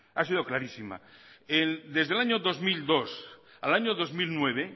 ha sido clarísima desde el año dos mil dos al año dos mil nueve